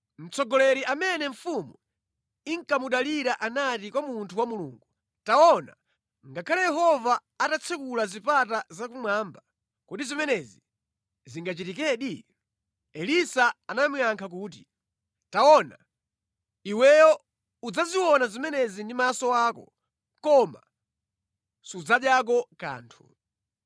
Mtsogoleri amene mfumu inkamudalira anati kwa munthu wa Mulungu, “Taona, ngakhale Yehova atatsekula zipata zakumwamba, kodi zimenezi zingachitikedi?” Elisa anamuyankha kuti, “Taona, iweyo udzaziona zimenezi ndi maso ako, koma sudzadyako kanthu.”